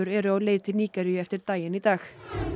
eru á leið til Nígeríu eftir daginn í dag